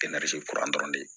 kuran dɔrɔn de